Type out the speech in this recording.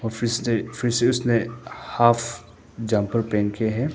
फिस्टे ने हाफ जाफर पहन के है।